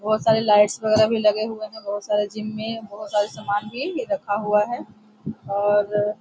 बहुत सारा लाइट वेगेरा भी लगे हुए हैं बहुत सारा जिम में बहुत सारे सामान भी रखा हुआ है और --